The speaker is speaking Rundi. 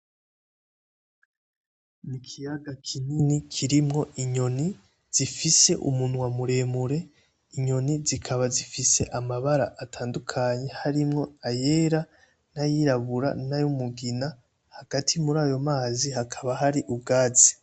Ikiyaga kinini kirimwo inyoni zifise umunwa muremure, inyoni zikaba zifise amabara atandukankye harimwo ayera nayirabura n'ayumugina hagati muri ayo mazi hakaba hari ubwatsi.